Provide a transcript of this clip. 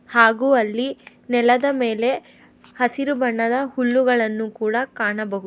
ಹಾಗೂ ಅಲ್ಲಿ ನೆಲದ ಮೇಲೆ ಹಸಿರು ಬಣ್ಣದ ಹುಲ್ಲುಗಳನ್ನು ಕೂಡ ಕಾಣಬಹು --